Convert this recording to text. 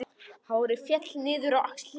Hárið féll niður á axlir.